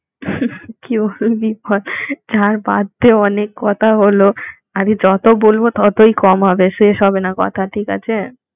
হুমম কি বলবি বল ছাড় বাদ দে অনেক কথা হলো আমি যত বলবো ততই কম হবে শেষ হবে না কথা ঠিক আছে